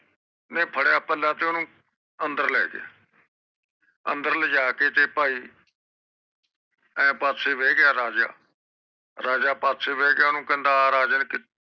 ਨੇ ਫੜਦਿਆਂ ਪੱਲਾ ਤੇ ਓਹਨੂੰ ਪਾਸੇ ਲੈ ਗਿਆ ਅੰਦਰ ਲਿਜਾ ਕੇ ਤੇ ਭਾਈ ਇਹ ਪਾਸੇ ਬਹਿ ਗਿਆ ਤੇ ਓਹਨੂੰ ਕਹਿੰਦਾ ਹਨ ਰਾਜਾ ਕਿ